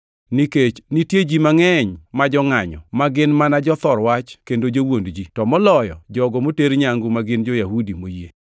Nikech nitie ji mangʼeny ma jongʼanyo, ma gin mana jothor wach kendo jowuond ji, to moloyo jogo moter nyangu ma gin jo-Yahudi moyie.